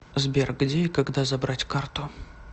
сбер где и когда забрать карту